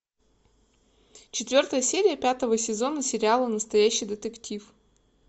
четвертая серия пятого сезона сериала настоящий детектив